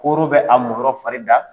Kooro bɛ a mɔn yɔrɔ fari da.